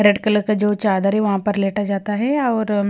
red colour का जो चादर है वहां पर लेटा जाता है और--